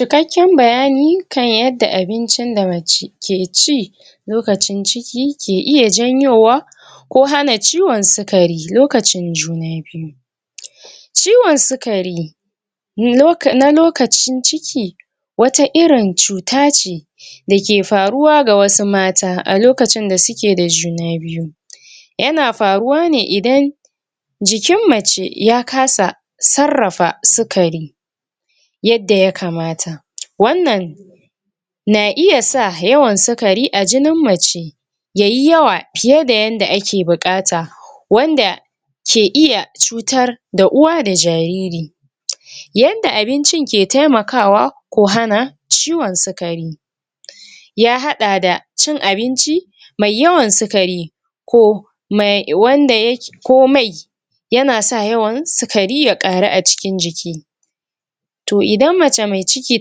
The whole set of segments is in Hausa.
ikakken bayani kan yadda abincin da mace ke ci lokacin ciki ke iya janyowa ko hana ciwon su kari lokacin juna biyu ciwon sukari na lokacin ciki wata irin cuta ce dake faruwa ga wasu mata alokacin da suke da juna biyu yana faruwa ne idan jikin mace ya kasa sarrafa sukari yadda yakamata wannan na iyasa yawan suukari a jinin mace yayi yawa fiye da yanda ake buƙata wanda ke iya cutar da uwa da jariri yanda abincin ke temakawa ko hana ciwon sukari ya haɗa da cin abinci mai yawan sukari ko me, wanda yake ko mai yanasan yawan sukari ya ƙaru acikin jiki to idan mae mai ciki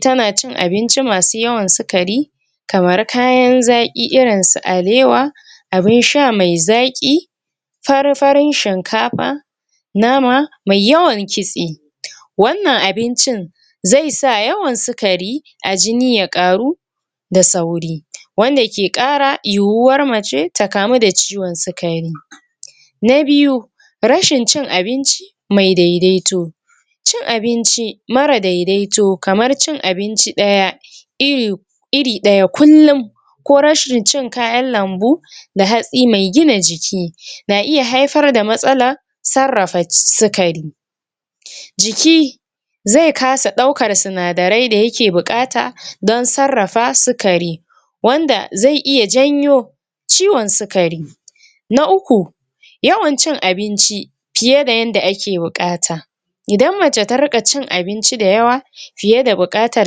tana cin abinci masu yawan sukari kamar kayan za ƙi irinsu alewa abinsha me zaƙi fari fari shin kafa nama mai yawan kitse wannan abincin zesa yawan sukari ajini yakaru da sauri wanda ke ƙara yuwuwar mace ta kamu da ciwon sukari na biyu rashin cin abinci mai dedaito cin abinci mara dedaito kamar cin abinci ɗaya iri iri ɗaya kullum ko rashin cin kayan lambu da hatsi mai gina jiki na iya haifar da matsalal sarrafa sukari jiki ze kasa ɗaukar suna darai dayake buƙata dan sarrafa sukari wanda ze iya jnyo ciwon sukari na uku yawan cin abinci fiye da yanda ake buƙata idn mace ta riƙa cin abinci da yawa fiyeada buƙatar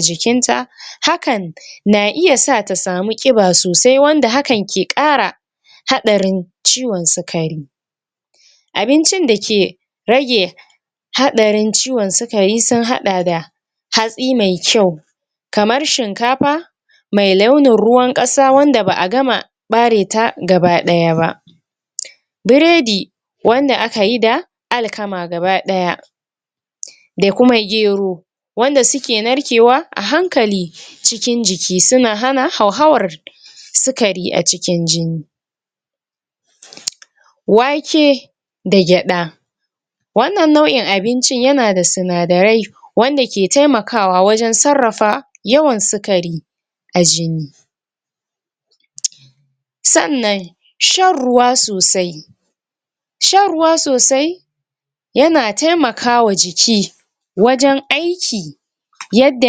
jikin ta hakan na iyasa tasamu ƙiba sosai wanda hakan ke kara haɗarin ciwon sukari abincin dake rage haɗarin ciwon su kari sun haɗa da hatsi mai kyau kamar shin kafa me launin ruwan ƙasa wanda ba gama ɓareta gaba ɗaya ba biredi wanda akayi da alkama gaba ɗaya da kuma gero wanda suke narkewa ahankali cikin jiki suna hana hau hawan sukari acikin jini wake da gyaɗa wannan nau'in abincin yanada suna dare wanda ke temakawa wajan sarrafa yawan sukari a jini sannan shan ruwa sosai shan ruwa sosai yana temakawa jiki wajan aiki yadda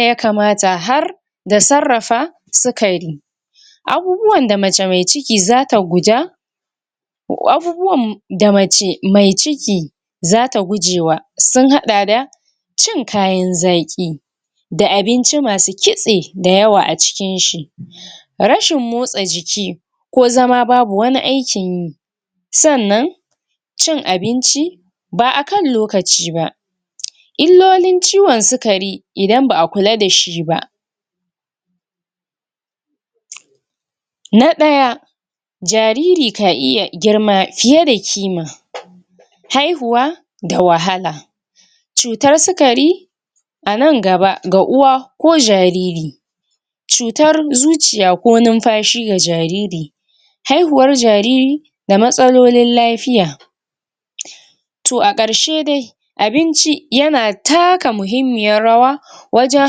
yakamata har da sarrafa sukari abubuwanda mace me ciki zata guja abubuwan da mace mai ciki zata gujewa sun haɗa da cin kayan zaƙi da abinci masu kitse da yawa acikinshi rashin motsa jiki ko zama babu ko aikinyi sannan cin abinci ba akan lokaciba illolin ciwon sukari idan ba akula dashiba na ɗaya jariri ka iya girma fiye da ƙima haihuwa da wahala cutar sukari anan gaba ga uwa ko jariri cutar zuciya ko numfashi ga jariri haihuwar jariri da matsalolin lafiya to aƙarshe dai abinci yana taka mahimmiyar yawa wajan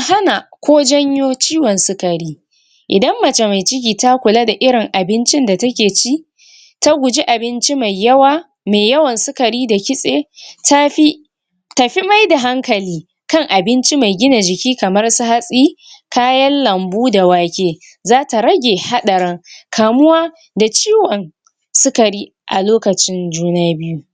hana ko janyo ciwon sukari idan mace mai ciki ta kula da irin abincin da take ci taguji abinci mai yawa me yawan sukari da kitse tafi tafi maida hankali kan abinci mai gina jiki kamansu hatsi kayan lambu da wake zata rage haɗarin kamuwa da ciwon sukari alokacin juna biyu